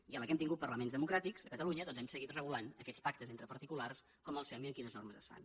i a la que hem tingut parlaments democràtics a catalunya doncs hem seguit regulant aquests pactes entre particulars com els fem i amb quines normes es fan